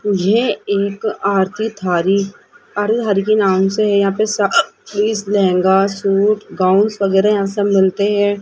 मुझे एक आरती थारी हरि हरि के नाम से है यहां पे लहंगा सूट गाउन वगैरह यहां सब मिलते हैं।